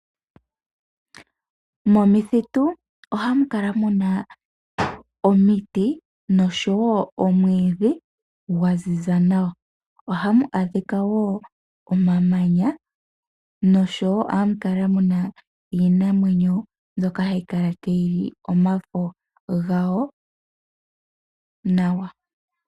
Momithitu ohamu kala mu na omiti noshowo omwiidhi gwa ziza nawa. Ohamu adhika wo omamanya noshowo ohamu kala mu na iinamwenyo mboka hayi kala tayi li omafo gayo nawa.